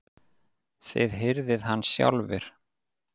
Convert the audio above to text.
Þið hirðið hann sjálfir!